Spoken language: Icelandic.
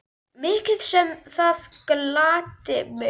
Mikið sem það gladdi mig.